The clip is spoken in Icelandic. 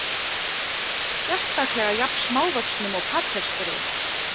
Sérstaklega jafn smávöxnum og Patreksfirði.